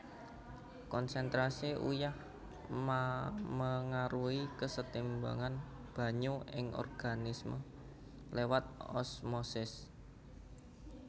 Konsentrasi uyah memengaruhi kesetimbangan banyu ing organisme lewat osmosis